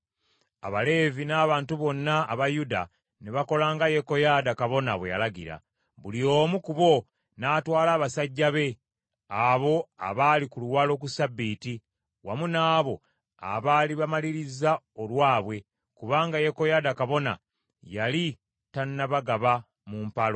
Abaleevi n’abantu bonna aba Yuda ne bakola nga Yekoyaada kabona bwe yalagira. Buli omu ku bo n’atwala abasajja be, abo abaali mu luwalo ku Ssabbiiti, wamu n’abo abaali bamaliriza olwabwe, kubanga Yekoyaada kabona yali tannabagaba mu mpalo.